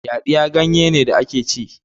yaɗiya ganye ne da ake ci